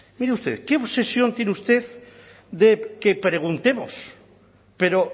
mire usted qué obsesión tiene usted de que preguntemos pero